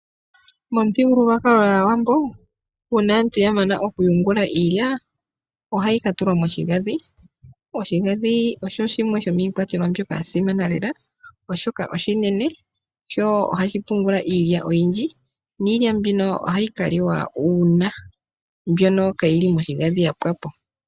Momuthigululwakalo gwaawambo uuna aantu yamana oku yungula iilya ohayi ka katulwa moshigandhi, noshigandhi osho shimwe shomiikwatelwa mbyoka ya simana lela oshoka oshinene sho ohashi pungula iilya oyindji niilya mbino ohayi kaliwa uuna mbyono kayili moshigandhi yapwapo.